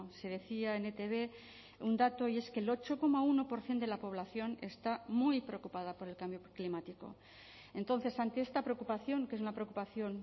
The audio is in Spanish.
se decía en etb un dato y es que el ocho coma uno por ciento de la población está muy preocupada por el cambio climático entonces ante esta preocupación que es una preocupación